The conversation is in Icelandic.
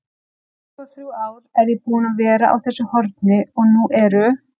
tuttugu-og-þrjú ár er ég búinn að vera á þessu horni og nú eru